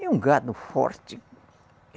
É um gado forte.